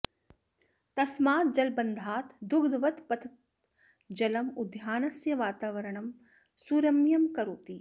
तस्मात् जलबन्धात् दुग्धवत् पतत् जलं उद्यानस्य वातावरणं सुरम्यं करोति